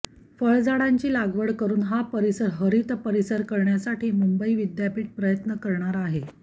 फळझाडांची लागवड करून हा परिसर हरित परिसर करण्यासाठी मुंबई विद्यापीठ प्रयत्न करणार आहे